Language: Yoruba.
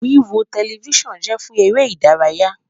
Wiwo Telifisonu jẹ fun ere idaraya